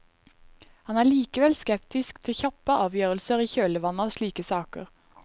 Han er likevel skeptisk til kjappe avgjørelser i kjølvannet av slike saker.